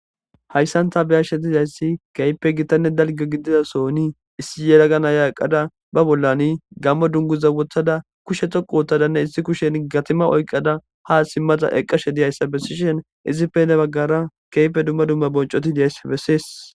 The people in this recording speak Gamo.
hayssanta beyashshe dizayssi keype gittanne dalgo gidida soni issi yeragana yaaqada ba bollani gammo dunguza wottada kushe toqu wottadanne issi kushen gatima oyqada ha simmata eqqashe diyayssa bessishen izipe ne baggara keype dumma dumma boncoti deays bessees